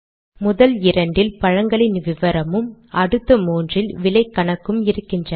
முதல் இரண்டில் பழங்களின் விவரமும் அடுத்த மூன்றில் விலை கணக்கும் இருக்கின்றன